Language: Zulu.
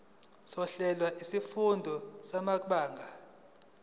sohlelo lwezifundo samabanga